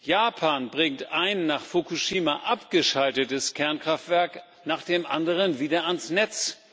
Japan bringt ein nach Fukushima abgeschaltetes Kernkraftwerk nach dem anderen wieder ans Netz.